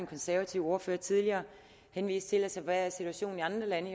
konservative ordfører tidligere henviste til hvad situationen i andre lande